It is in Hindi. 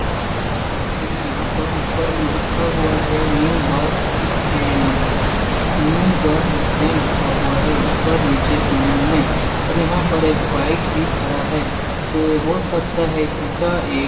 लगता है कि यहाँ पर ऊपर में लिखा हुआ है new bus stand new bus stand लिखा हुआ है ऊपर नीचे दोनों में और यहाँ पर एक बाइक भी खड़ा है तो हो सकता है कि यह एक--